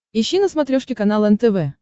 ищи на смотрешке канал нтв